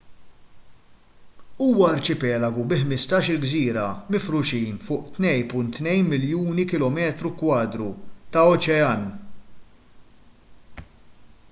huwa arċipelagu bi 15-il gżira mifruxin fuq 2.2 miljuni km2 ta' oċean